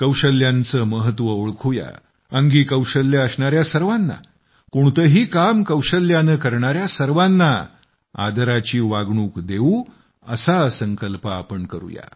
कौशल्यांचे महत्त्व ओळखू या अंगी कौशल्य असणाऱ्या सर्वांना कोणतेही काम कौशल्याने करणाऱ्या सर्वांना आदराची वागणूक देऊ असा संकल्प आपण करूया